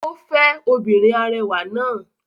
Ó fẹ́ obìnrin arẹwà náà.